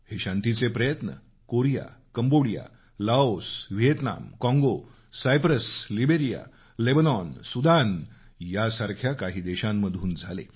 हे शांतीचे प्रयत्न कोरिया कंबोडिया लाओस व्हिएतनाम काँगो सायप्रस लीब्रिया लेबनॉन सुदान या काही देशांमधून झाले